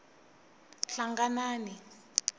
hlanganani